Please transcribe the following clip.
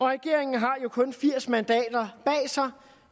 regeringen har jo kun firs mandater bag sig